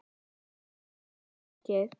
Það er oftast þannig.